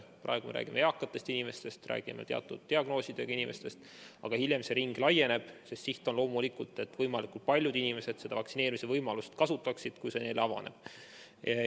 Praegu räägime eakatest inimestest ja teatud diagnoosiga inimestest, aga hiljem see ring laieneb, sest siht on loomulikult see, et võimalikult paljud inimesed vaktsineerimise võimalust kasutaksid, kui see neile avaneb.